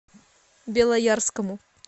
белоярскому